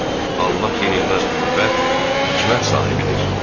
Allah yenilməz qüvvət, hikmət sahibidir.